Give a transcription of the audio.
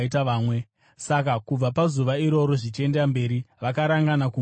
Saka kubva pazuva iroro zvichienda mberi, vakarangana kumuuraya.